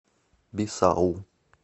бисау